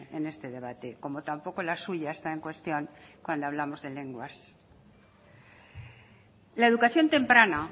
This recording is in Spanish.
en este debate como tampoco la suya está en cuestión cuando hablamos de lenguas la educación temprana